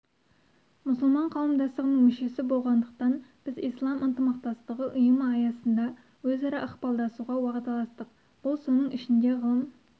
мұсылман қауымдастығының мүшесі болғандықтан біз ислам ынтымақтастығы ұйымы аясында өзара ықпалдасуға уағдаластық бұл соның ішінде ғылым